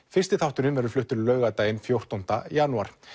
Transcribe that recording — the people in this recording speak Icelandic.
fyrsti þátturinn fluttur laugardaginn fjórtánda janúar